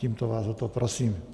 Tímto vás o to prosím.